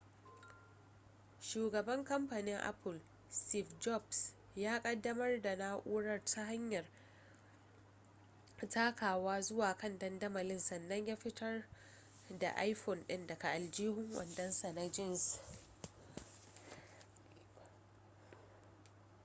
shugaban kamfanin apple steve jobs ya kaddamar da na'urar ta hanyar takawa zuwa kan dandamalin sannan fitar da iphone din daga aljihun wandonsa na jeans